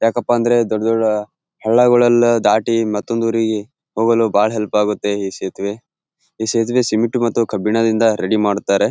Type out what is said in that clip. ಯಾಕಪ್ಪ ಅಂದ್ರೆ ದೊಡ್ಡ್ ದೊಡ್ಡ್ ಹಲ್ಲಗಳೆಲ್ಲ ದಾಟಿ ಮತ್ತ್ತೊಂದ್ ಉರಿಗೆ ಹೋಗಲು ಬಹಳ ಹೆಲ್ಪ್ ಆಗುತ್ತೆ ಈ ಸೇತುವೆ. ಈ ಸೇತುವೆ ಅನ್ನು ಸಿಮೆಂಟ್ ಮತ್ತು ಕಬ್ಬಿಣ ದಿಂದ ರೆಡಿ ಮಾಡುತ್ತಾರೆ .